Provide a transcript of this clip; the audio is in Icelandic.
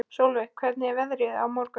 Solveig, hvernig er veðrið á morgun?